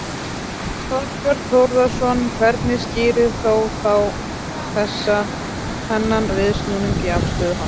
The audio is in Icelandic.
Þorbjörn Þórðarson: Hvernig skýrir þó þá þessa, þennan viðsnúning í afstöðu hans?